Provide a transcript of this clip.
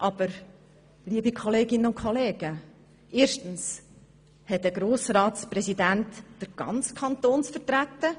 Aber, liebe Kolleginnen und Kollegen, erstens hat ein Grossratspräsident den gesamten Kanton zu vertreten.